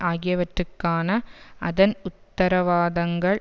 ஆகியவற்றுக்கான அதன் உத்தரவாதங்கள்